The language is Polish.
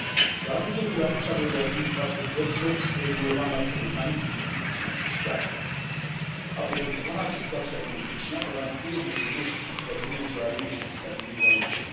Działalność gospodarcza w Europie jest bardzo dobrze uregulowana w porównaniu do niektórych części świata, a uporządkowana sytuacja polityczna gwarantuje możliwości prowadzenia działalności w stabilnych warunkach.